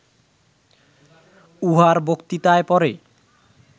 উহার বক্তৃতায় পরে